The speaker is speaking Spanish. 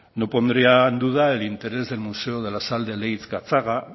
no pondría en duda el interés del museo de la sal de leintz gatzaga